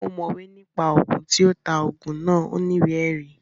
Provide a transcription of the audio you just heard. Ọ̀mọ̀wé ní pa Ògùn, tí ó ta Ògùn náà ò ní ìwé ẹ̀rí